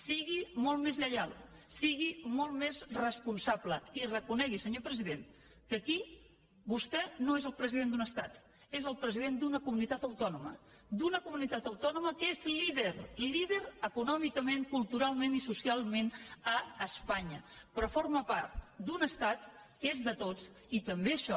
sigui molt més lleial sigui molt més responsable i reconegui senyor president que aquí vostè no és el president d’un estat és el president d’una comunitat autònoma d’una comunitat autònoma que és líder líder econòmicament culturalment i socialment a espanya però forma part d’un estat que és de tots i també això